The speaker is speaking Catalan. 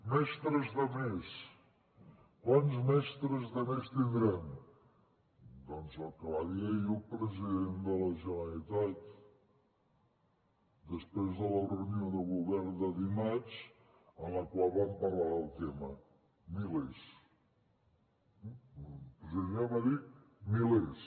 mestres de més quants mestres de més tindrem doncs el que va dir ahir el president de la generalitat després de la reunió de govern de dimarts en la qual van parlar del tema milers eh el president de la generalitat va dir milers